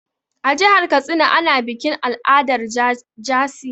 A jihar Katsina ana bikin al'adar jaci.